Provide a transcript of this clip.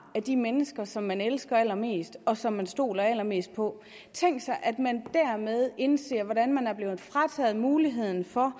af de mennesker som man elsker allermest og som man stoler allermest på tænk sig at man dermed indser hvordan man er blevet frataget muligheden for